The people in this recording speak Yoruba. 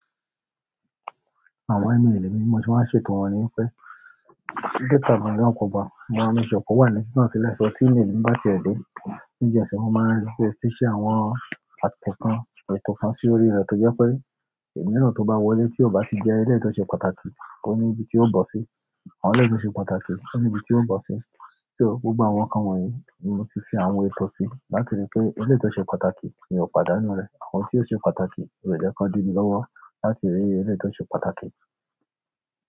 Àwọn email mi, mo ṣe máa ń ṣètò wọ́n níwípé, data mi áa kọkọ mo má ń make sure pe owá ni titan silẹ. Lẹ́sọ̀ email mi bá ti ẹ̀dọ̀ nígbà tí ẹsẹ̀ wọn máa ń rí pé, tí ṣe àwọn àtọ̀tọ̀n ètò fọn sí orí rẹ. Tí ó jẹ́ pé, email náà tó bá wọlé tí ó bá ti jẹ́ ilé ìtọ́ṣe pàtàkì, kò ní ibi tí ó bọ̀ sí. Àwọn ilé ìtọ́ṣe pàtàkì kò ní ibi tí ó bọ̀ sí. So gbogbo àwọn kán wọ̀nyí ni mo ti fi àwọn ètò sí, láti rí i pé eléyi to ṣe pàtàkì ni ó padà nú rẹ̀. Àwọn tí ó ṣe pàtàkì, mó jẹ́ kí wọ́n di mi lọ́wọ́ láti rí eléyi tó ṣe pàtàkì.